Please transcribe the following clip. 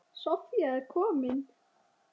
Soffía er komin.